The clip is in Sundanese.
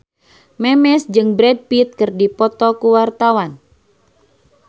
Memes jeung Brad Pitt keur dipoto ku wartawan